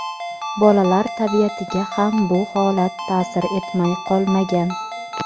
Bolalar tabiatiga ham bu holat taʼsir etmay qolmagan.